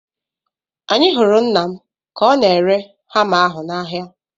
Anyị hụrụ nna m ka ọ na-ere hama ahu n'ahịa